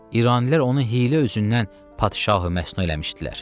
İranilər onu hiylə üzündən padşahı məsnu eləmişdilər.